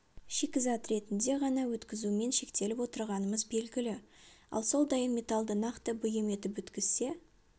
шикізат ретінде ғана өткізумен шектеліп отырғанымыз белгілі ал сол дайын металды нақты бұйым етіп өткізсе